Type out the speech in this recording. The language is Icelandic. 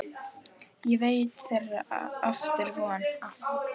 Ég veit að þeirra er aftur von.